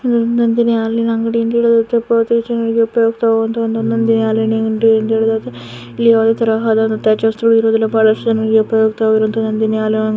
ಇದೊಂದು ನಂದಿನಿ ಹಾಲಿನ ಅಂಗಡಿ ಉಪಯೋಗ ಒಂದೊಂದೇ ಹಾಲಿನ ಇಲ್ಲಿ ಯಾವದೇತರ ಹಾಲಿನ ಬಹಳಷ್ಟು ಜನರು ಉಪಯೋಗತ ಇರೋದು ನಂದಿನಿ ಹಾಲು --